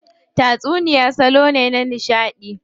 Tatsuniya salo ne na nishadi.